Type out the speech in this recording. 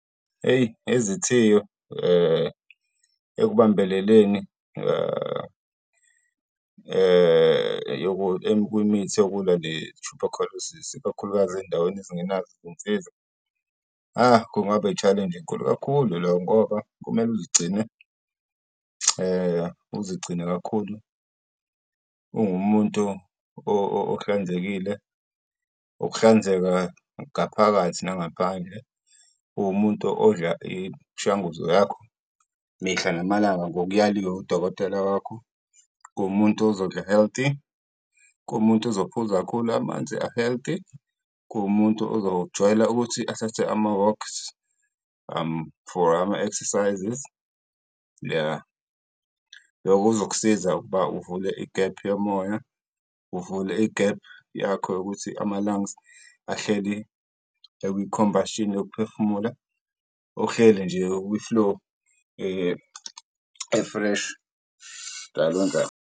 Hheyi izithiyo, ekubambeleleni kwimithi yokulwa ne-tuberculosis-i, ikakhulukazi ezindaweni ezingenazo iy'nsiza. Kungaba i-challenge enkulu kakhulu leyo ngoba kumele uzigcine, uzigcine kakhulu ungumuntu ohlanzekile, ukuhlanzeka ngaphakathi nangaphandle. Uwumuntu odla imishanguzo yakho mihla namalanga ngokuyaliwe udokotela wakho, kuwumuntu ozodla healthy, kowumuntu ozophuza kakhulu amanzi a-healthy, kuwumuntu uzojwayela ukuthi athathe ama-walks, for ama-exercises, ya. Lokhu kuzokusiza ukuba uvule igephu yomoya, uvule igephu yakho yokuthi ama-lungs ahleli ekwi-combustion yokuphefumula, ohleli nje ukwi-flow e-fresh, njalo njalo.